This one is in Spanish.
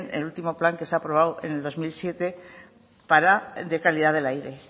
el último plan que se ha aprobado en dos mil siete sobre la calidad del aire